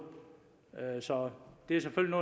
så det er selvfølgelig